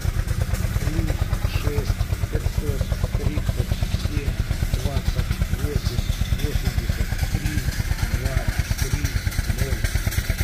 плюс шесть пятьсот тридцать семь двадцать восемь восемьдесят три два три ноль